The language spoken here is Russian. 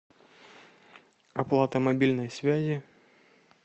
оплата мобильной связи